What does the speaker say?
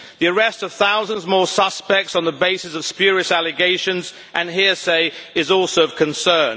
The arrest of thousands more suspects on the basis of spurious allegations and hearsay is also of concern.